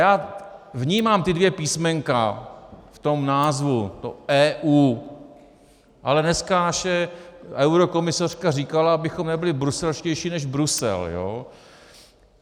Já vnímám ta dvě písmenka v tom názvu, to EU, ale dneska naše eurokomisařka říkala, abychom nebyli bruselštější než Brusel, jo?